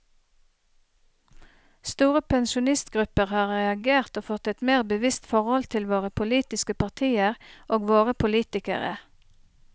Store pensjonistgrupper har reagert og fått et mer bevisst forhold til våre politiske partier og våre politikere.